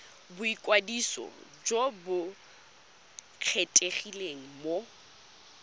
boikwadiso jo bo kgethegileng go